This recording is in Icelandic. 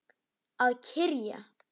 Að kyrja.